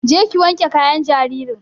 Je ki wanke kayan jaririn!